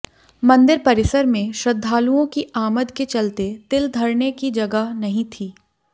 मंदिर परिसर में श्रद्धालुओं की आमद के चलते तिल धरने की जगह नहीं थी